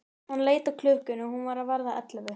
Hann leit á klukkuna, hún var að verða ellefu.